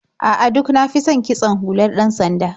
A'a, duk na fi son kitson hular ɗan-sanda.